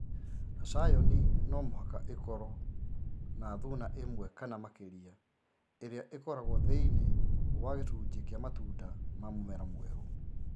Scion no mũhaka ikorwo na thuna ĩmwe kana makĩria ĩrĩa ĩkoragwo thĩinĩ wa gĩcunjĩ kĩa matunda ma mũmera mwerũ